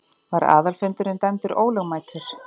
Var aðalfundurinn dæmdur ólögmætur.